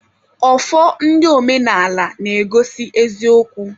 Ọfọ ndị omenaala na-egosi eziokwu.